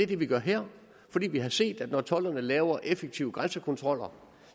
det vi gør her fordi vi har set at når tolderne lavere effektive grænsekontroller